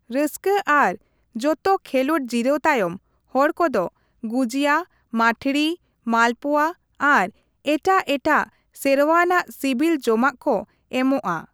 ᱨᱟᱹᱥᱠᱟᱹ ᱟᱨ ᱡᱚᱛᱚ ᱠᱷᱮᱞᱚᱸᱰ ᱡᱤᱨᱟᱹᱣ ᱛᱟᱭᱚᱢ, ᱦᱚᱲ ᱠᱚᱫᱚ ᱜᱩᱡᱤᱭᱟ, ᱢᱟᱴᱷᱲᱤ, ᱢᱟᱞᱯᱩᱣᱟ ᱟᱨ ᱮᱴᱟᱜ ᱮᱴᱟᱜ ᱥᱮᱨᱣᱟᱱᱟᱜ ᱥᱤᱵᱤᱞ ᱡᱚᱢᱟᱜ ᱠᱚ ᱮᱢᱚᱜᱼᱟ ᱾